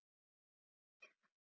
Og kannski eina gulrót.